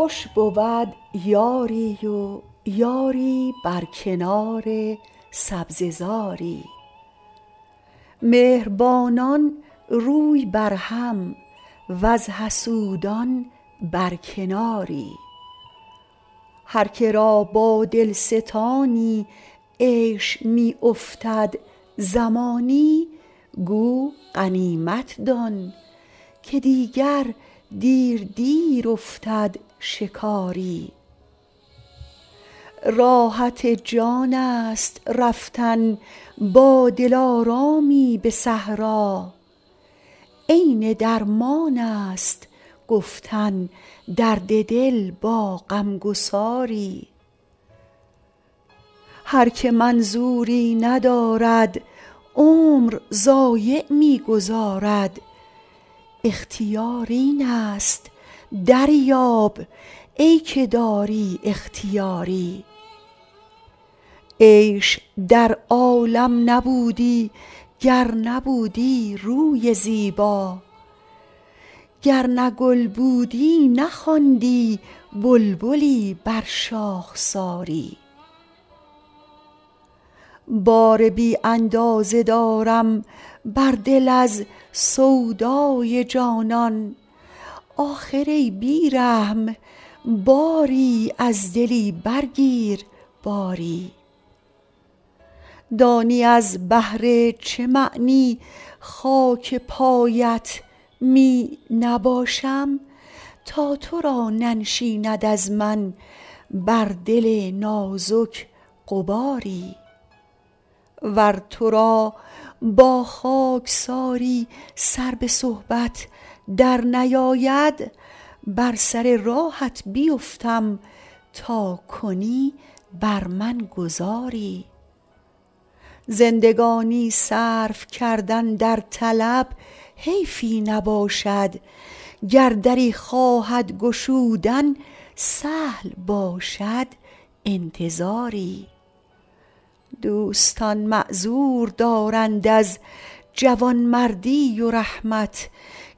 خوش بود یاری و یاری بر کنار سبزه زاری مهربانان روی بر هم وز حسودان بر کناری هر که را با دل ستانی عیش می افتد زمانی گو غنیمت دان که دیگر دیر دیر افتد شکاری راحت جان است رفتن با دلارامی به صحرا عین درمان است گفتن درد دل با غم گساری هر که منظوری ندارد عمر ضایع می گذارد اختیار این است دریاب ای که داری اختیاری عیش در عالم نبودی گر نبودی روی زیبا گر نه گل بودی نخواندی بلبلی بر شاخساری بار بی اندازه دارم بر دل از سودای جانان آخر ای بی رحم باری از دلی برگیر باری دانی از بهر چه معنی خاک پایت می نباشم تا تو را ننشیند از من بر دل نازک غباری ور تو را با خاکساری سر به صحبت درنیاید بر سر راهت بیفتم تا کنی بر من گذاری زندگانی صرف کردن در طلب حیفی نباشد گر دری خواهد گشودن سهل باشد انتظاری دوستان معذور دارند از جوانمردی و رحمت